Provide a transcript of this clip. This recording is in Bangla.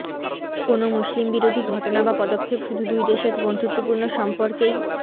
কোনো মুসলিমবিরোধী ঘটনা বা পদক্ষেপ শুধু দুই দেশের বন্ধুত্বপূর্ণ সম্পর্কেই